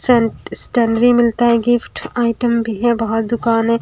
Stationery मिलता है gift item भी है बहुत दुकान है।